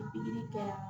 Pikiri kɛ